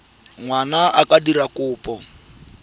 ngwana a ka dira kopo